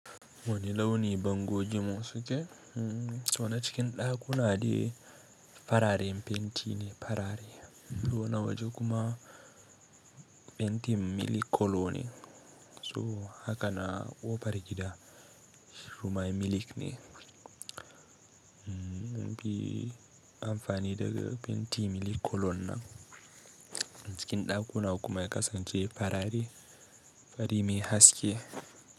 Wane launi bangogin mun suke? So na cikin ɗakuna de fararen fenti ne farare, to na waje kuma fentin milk colour ne. So haka na kofar gida shikuma miliƙ ne. Kuyi amfani da fenti milk colour nan cikin ɗakuna kuma ya kasance farare, fari mai haske.